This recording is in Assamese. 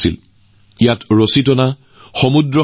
তেনে এটা মঞ্চৰ সৃষ্টি হৈছেবীচ্চ গেমছ যিটো দিউত আয়োজন কৰা হৈছিল